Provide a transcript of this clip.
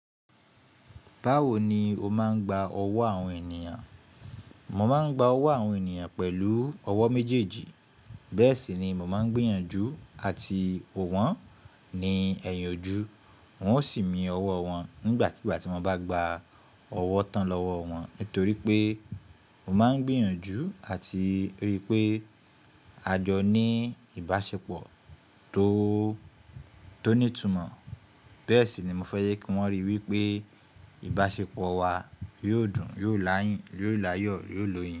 Báwo ni o máa ń gba ọwọ́ àwọn ènìyàn? Mo máa ń gba ọwọ́ àwọn ènìyàn pẹ̀lú ọwọ́ méjèèjì. Bẹ́ẹ̀ sì ni mo máa ń gbìyànjú àti wo wọ́n ní ẹ̀yìn ojú. Wọn ó sì mi ọwọ́ wọn nígbàkigbà tí mo bá gba ọwọ́ tán lọ́wọ́ wọn. Nítorí pé mo máa ń gbìyànjú àti ríi pé àjọ ní ìbáṣepọ̀ tó tó ní ìtumọ̀. Bẹ́ẹ̀ sì ni mo fẹ́ yẹ kí wọ́n rí i wí pé ìbáṣepọ̀ wa yóò dùn, yóò layin yóò láyọ̀ yóò lóye.